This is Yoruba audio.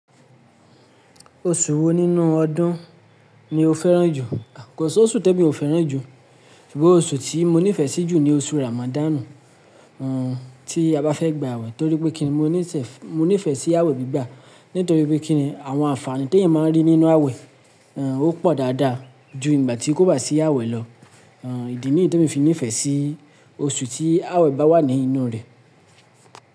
Oṣù wo nínú ọdún ni o fẹ́ràn jù? Kò soṣù té mi ò fẹ́ràn jù, ṣùgbọ́n oṣù tí mo nífẹ̀ẹ́ sí jù ni oṣù Ramadanu, tí a bá fẹ́ gba àwẹ̀ torí pé kíni mo nífẹ̀ẹ́ sí àwẹ̀ gbígbà nítorí pé kíni àwọn àǹfààní té ìyẹn máa ń rí nínú àwẹ̀, ó pọ̀ dáadáa ju ìgbà tí kò bá sí àwẹ̀ lọ. Ìdí nìyí tí mo fi nífẹ̀ẹ́ sí oṣù tí àwẹ̀ bá wà nínú rẹ̀.